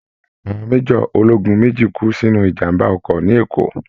Àwọn major ológun mèjì kú sínú ìjàmbá ọkọ̀ ní Ekó